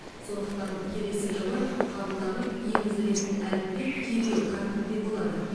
сондықтан келесі жылы қабылданып енгізілетін әліппе кирилл қарпінде болады